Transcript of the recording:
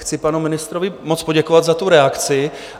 Chci panu ministrovi moc poděkovat za tu reakci.